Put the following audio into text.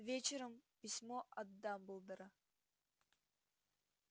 вечером письмо от дамблдора